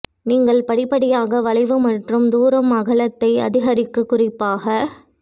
நீங்கள் படிப்படியாக வளைவு மற்றும் தூரம் அகலத்தை அதிகரிக்க குறிப்பாக